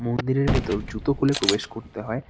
মন্দিরের ভেতর জুতো খুলে প্রবেশ করতে হয়।